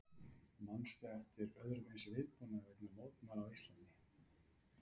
Manstu eftir öðrum eins viðbúnaði vegna mótmæla á Íslandi?